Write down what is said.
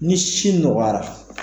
Ni si nɔgɔyara.